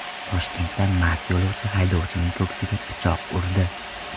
Toshkentda mast yo‘lovchi haydovchining ko‘ksiga pichoq urdi.